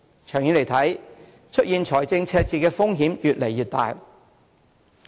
長遠來看，出現財政赤字的風險越來越大。